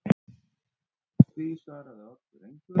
Því svaraði Oddur engu.